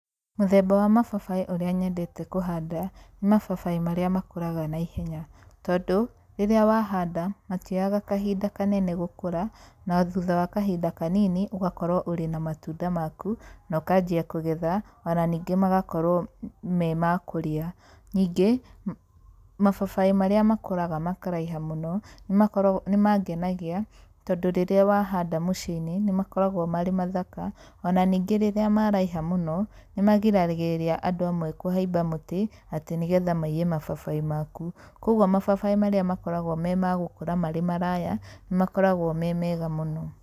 Mũthemba wa mababaĩ ũrĩa nyendete kũhanda, nĩ mababaĩ marĩa makũraga naihenya, tondũ rĩrĩa wahanda, matioyaga kahinda kanene gũkũra, na thutha wa kahinda kanini ũgakorwo ũrĩ na matunda maku, na ũkanjia kũgetha, ona ningĩ magakorwo me makũrĩa. Ningĩ, mababaĩ marĩa makũraga makaraiha mũno, nĩmakoragwo, nĩmangenagia, tondũ rĩrĩa wahanda mũciĩ-inĩ, nĩmakoragwo marĩ mathaka, ona ningĩ rĩrĩa maraiha mũno, nĩmagiragĩrĩria andũ amwe kũhaimba mũtĩ, atĩ nĩgetha maiye mababaĩ maku. Koguo mababaĩ marĩa makoragwo me magũkũra marĩ maraya, nĩmakoragwo memega mũno.